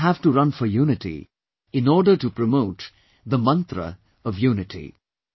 We also have to run for unity in order to promote the mantra of unity